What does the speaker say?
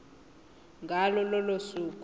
ngalo lolo suku